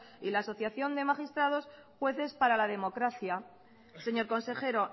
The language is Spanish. y la asociación de magistrados y jueces para la democracia señor consejero